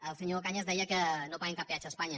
el senyor cañas deia que no paguem cap peatge a espanya